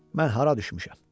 Mən hara düşmüşəm?